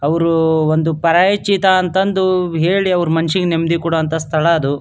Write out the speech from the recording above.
ಅವ್ರು ಒಂದು ಪರಿಚಿತ ಅಂತಂದು ಹೇಳಿ ಅವ್ರು ಮನಸ್ಸಿಗೆ ನೆಮ್ಮದಿ ಕೊಡುವಂತಹ ಸ್ಥಳ ಅದು.